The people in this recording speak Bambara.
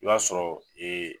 I b'a sɔrɔ